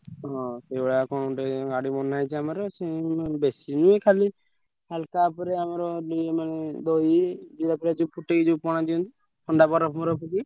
ହଁ ସେଇଭଳିଆ କଣ ଗୋଟେ ଗାଡି ବନାହେଇଛି ଆମର ସିଏ ବେଶୀ ନୁହେଁ ଖାଲି ହାଲକା ଉପରେ ଆମର ଇଏ ମାନେ ଦହି, ଜୀରା ଫିରା ଯୋଉ ଫୁଟେଇ ଯୋଉ ପଣା ଦିଅନ୍ତି ଥଣ୍ଡା ବରଫ ମରଫ ପକେଇ।